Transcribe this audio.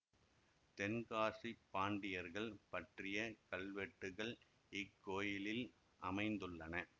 தென்காசிப் பாண்டியர்கள் பற்றிய கல்வெட்டுகள் இக்கோயிலில் அமைந்துள்ளன